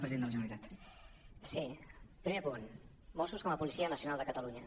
primer punt mossos com a policia nacional de catalunya